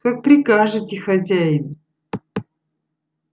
как прикажете хозяин